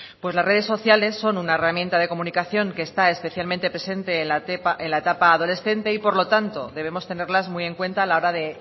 pues las redes sociales son una herramientas de comunicación que está especialmente presente en la etapa adolescente y por lo tanto debemos tenerlas muy en cuenta a la hora de